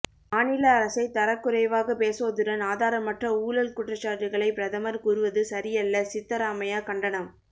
மாநில அரசை தரக்குறைவாக பேசுவதுடன் ஆதாரமற்ற ஊழல் குற்றச்சாட்டுகளை பிரதமர் கூறுவது சரியல்ல சித்தராமையா கண்டனம்